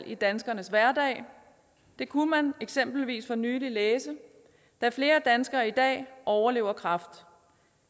i danskernes hverdag det kunne man eksempelvis for nylig læse da flere danskere i dag overlever kræft